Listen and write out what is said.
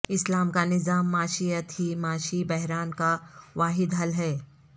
اسلام کا نظام معیشت ہی معاشی بحران کا واحد حل ہے